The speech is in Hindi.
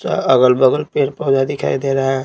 अगल-बगल पेड़ पौधा दिखाई दे रहा है।